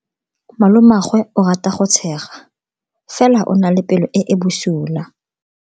Malomagwe o rata go tshega fela o na le pelo e e bosula.